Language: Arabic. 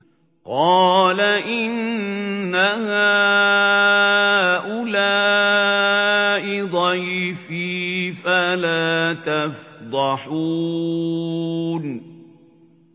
قَالَ إِنَّ هَٰؤُلَاءِ ضَيْفِي فَلَا تَفْضَحُونِ